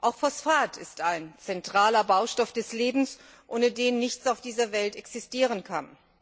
Auch Phosphat ist ein zentraler Baustoff des Lebens, ohne den nichts auf dieser Welt existieren kann.